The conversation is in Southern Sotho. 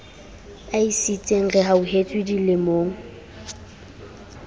a e sietseng rehauhetswe dilemong